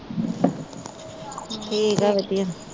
ਠੀਕ ਆ ਵਧੀਆ।